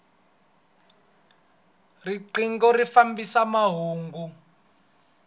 rinqingho ri fambisa mahungu